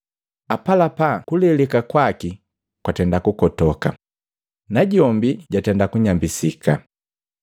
Apalapa, kuleleka kwaki kwatenda kukotoka, najombi jatenda kunyambisika.